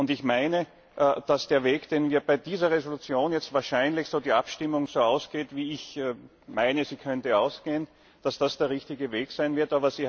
Ich meine, dass der Weg, den wir bei dieser Entschließung jetzt wahrscheinlich gehen so die Abstimmung so ausgeht, wie ich meine, sie könnte ausgehen dass das der richtige Weg sein wird.